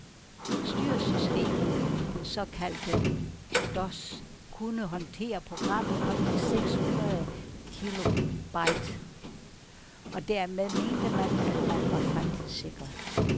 Styresystemet, den såkaldte dos, kunne håndtere programmer op til seks hundrede kilobyte, og dermed mente man, at man var fremtidssikret.